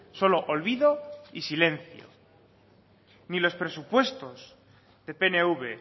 solo olvido y silencio ni los presupuestos de pnv